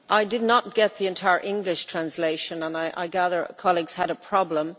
I did not get the entire English translation and I gather colleagues had a problem.